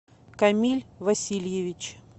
камиль васильевич